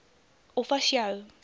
of as jou